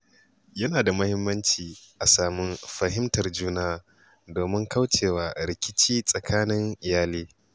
Yana da muhimmanci a sami fahimtar juna domin kauce wa rikici tsakanin iyali.